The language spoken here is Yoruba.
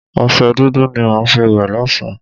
Ọṣẹ dúdú ni màá fi wẹ̀ lọ́sá̀n-an